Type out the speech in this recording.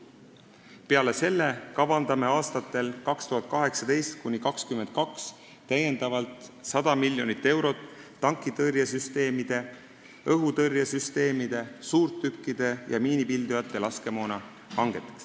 Peale selle kavandame aastatel 2018–2022 täiendavalt 100 miljonit eurot tankitõrjesüsteemide, õhutõrjesüsteemide, suurtükkide ja miinipildujate laskemoona hangeteks.